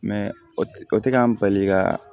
o tɛ k'an bali ka